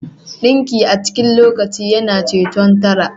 Dinki a cikin lokaci yana ceton tara